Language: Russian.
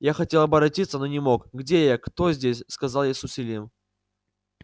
я хотел оборотиться но не мог где я кто здесь сказал я с усилием